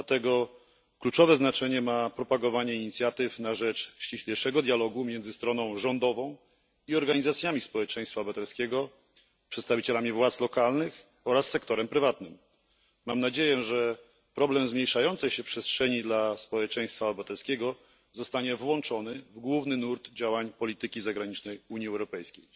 Dlatego kluczowe znaczenie ma propagowanie inicjatyw na rzecz ściślejszego dialogu między stroną rządową i organizacjami społeczeństwa obywatelskiego, przedstawicielami władz lokalnych oraz sektorem prywatnym. Mam nadzieję, że problem zmniejszającej się przestrzeni dla społeczeństwa obywatelskiego zostanie włączony do głównego nurtu działań polityki zagranicznej Unii Europejskiej.